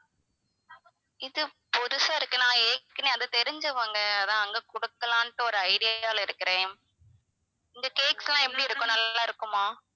இது புதுசா இருக்கு நான் ஏற்கனவே அந்த தெரிஞ்சவங்க அதான் அங்க குடுக்கலாம்னுட்டு ஒரு idea ல இருக்குறேன் இங்க cakes லாம் எப்படி இருக்கும் நல்லா இருக்குமா?